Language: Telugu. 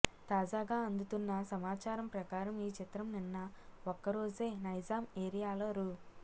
తాజాగా అందుతున్న సమాచారం ప్రకారం ఈ చిత్రం నిన్న ఒక్కరోజే నైజాం ఏరియాలో రూ